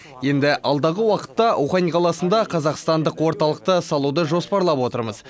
енді алдағы уақытта ухань қаласында қазақстандық орталықты салуды жоспарлап отырмыз